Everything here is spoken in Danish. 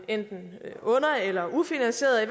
enten under eller ufinansierede i